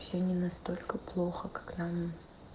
всё не настолько плохо как нам